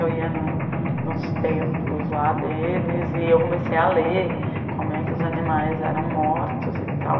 Eu ia no nos templos lá deles e eu comecei a ler como é que os animais eram mortos e tal.